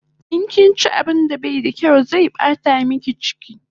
In kinchi abun da bai da kyaw zai bata miki chiki